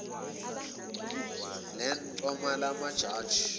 lan coma amajaji